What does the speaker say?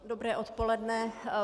Dobré odpoledne.